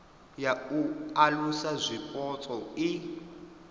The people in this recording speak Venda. ya u alusa zwipotso i